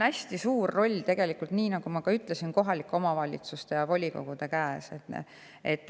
Hästi suur roll, nii nagu ma juba ütlesin, on kohalike omavalitsuste volikogudel.